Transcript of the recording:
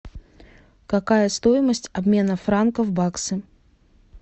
какая стоимость обмена франков в баксы